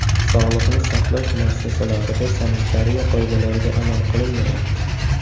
Sog‘liqni saqlash muassasalarida sanitariya qoidalariga amal qilinmayapti.